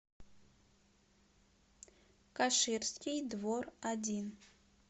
каширский двор один